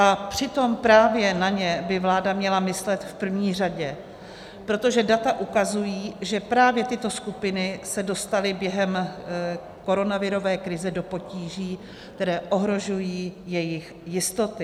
A přitom právě na ně by vláda měla myslet v první řadě, protože data ukazují, že právě tyto skupiny se dostaly během koronavirové krize do potíží, které ohrožují jejich jistoty.